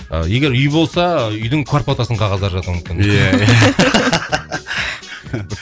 ы егер үй болса үйдің квартплатасының қағаздары жатуы мүмкін иә иә